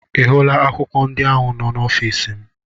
Ị hụla akwụkwọ ndị ahụ n'ọfịsi m?